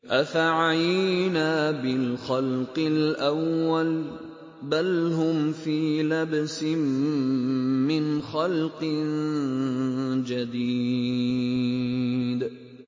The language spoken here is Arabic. أَفَعَيِينَا بِالْخَلْقِ الْأَوَّلِ ۚ بَلْ هُمْ فِي لَبْسٍ مِّنْ خَلْقٍ جَدِيدٍ